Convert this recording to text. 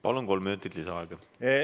Palun, kolm minutit lisaaega!